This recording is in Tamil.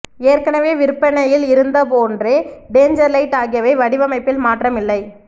ஏற்கனவே விற்பனையில் இருந்ததுபோன்றே டேஞ்சர் லைட் ஆகியவை வடிவமைப்பில் மாற்றம் இல்லை